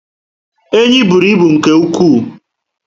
Enyi bụrụ ibu nke ụkwụ